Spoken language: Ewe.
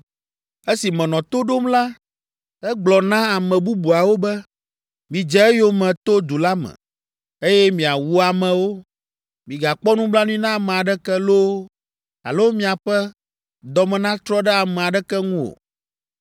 Esi menɔ to ɖom la, egblɔ na ame bubuawo be, “Midze eyome to du la me, eye miawu amewo. Migakpɔ nublanui na ame aɖeke loo, alo miaƒe dɔ me natrɔ ɖe ame aɖeke ŋu o.